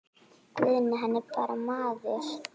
Guðni hann er bara maður.